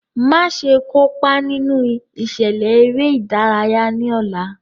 Maṣe kopa ninu iṣẹlẹ ere-idaraya ni ọla!